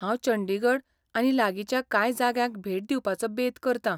हांव चंडीगढ आनी लागींच्या कांय जाग्यांक भेट दिवपाचो बेत करतां.